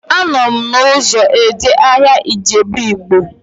Anọ m n'ụzọ eje ahịa Ijebu Ịgbo